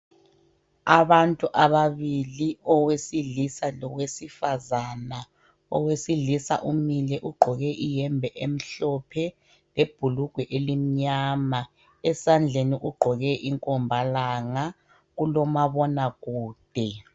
Abantu ababili owesilisa lowesifazana. Owesilisa umile ugqoke iyembe emhlophe lebhulugwe elimnyama. Esandleni ugqoke inkomba langa, kulomabona kude.